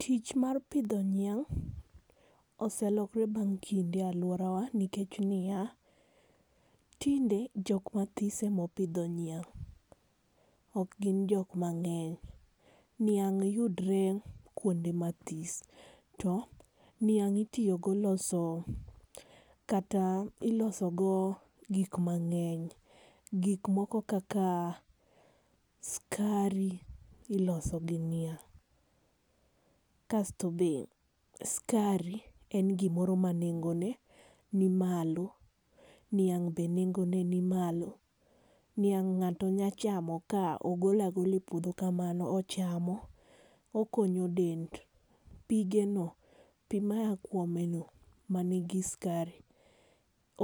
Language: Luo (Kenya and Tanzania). Tich mar pidho niang' oselokore bang' kinde e aluorawa nikech niya, tinde jok mathis ema opidho niang' ok gin jok mang'eny. Niang' yudre kuonde mathis to niang' itiyogo loso kata iloso go gik mang'eny. Gik moko kaka skari iloso gi niang', kasto be skari en gimoro ma nengone ni malo-. Niang' be nengone ni malo. Niang' ng'ato nyalo chamo ka ogolo agola e puodho kamano. Ochamo, okonyo del pigeno pi maa kuomeno man gi skari